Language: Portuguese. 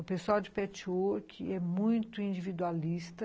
O pessoal de petchwork é muito individualista.